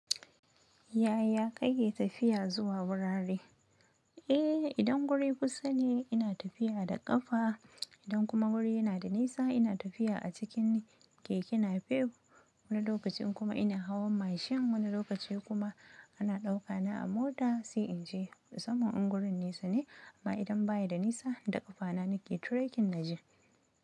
Yaya kake tafiya zuwa wurare? Eh, idan guri kusa ne ina tafiya da ƙafa. Idan kuma guri yana da nisa ina tafiya a cikin keke napep. Wani lokaci kuma ina hawa mashin wani lokaci kuma ana dauka na a mota sai inje musamman in gurin nesa ne amma idan baya da nisa da ƙafana nake trekking naje.